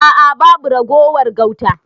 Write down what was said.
A'a babu ragowar gauta.